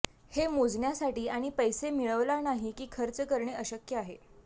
हे मोजण्यासाठी आणि पैसा मिळवला नाही की खर्च करणे अशक्य आहे